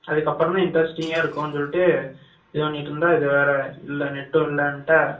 அதுக்கப்பறம் தான் interesting ஆ இருக்கும் சொல்லிட்டு இது பன்னிட்டு இருந்தா net டும் இல்ல என்கிட்ட